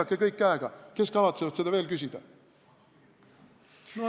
Näidake kõik käega, kes kavatsevad seda veel küsida!